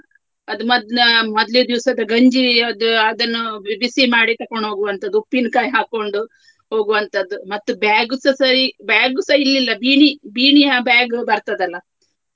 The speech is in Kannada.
ಅದು ಮೊದ್ಲು ಮೊದ್ಲಿದ್ ದಿವಸದ ಗಂಜಿ ಅದು ಅದನ್ನು ಬಿ~ ಬಿಸಿ ಮಾಡಿ ತಕೊಂಡ್ ಹೋಗುವಂತದ್ದು ಉಪ್ಪಿನ್ಕಾಯ್ ಹಾಕ್ಕೊಂಡು ಹೋಗುವಂತದ್ದು ಮತ್ತು bag ಸ ಸರಿ bag ಸ ಇರ್ಲಿಲ್ಲ ಬೀಣಿ ಬೀಣಿಯ bag ಬರ್ತದಲ್ಲ.